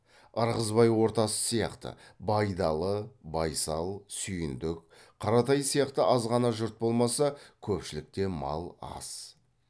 ырғызбай ортасы сияқты байдалы байсал сүйіндік қаратай сияқты азғана жұрт болмаса көпшілікте мал аз